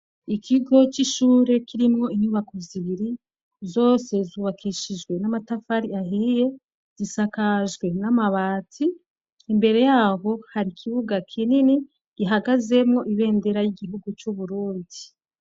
Ikigo c'ishure, kirimwo inyubako zibiri, zose zubakishijwe n'amatafari ahiye, zisakajwe n'amabati, imbere yaho hari ikibuga kinini gihagazemwo ibendera y'igihugu c'Uburundi.